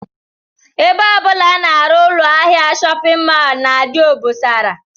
Ebe ọ bụla a na-arụ ụlọahịa shọpịn mọl na-adị obosara